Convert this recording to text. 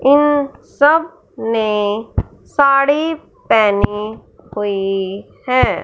इन सब ने साड़ी पहनी हुई हैं।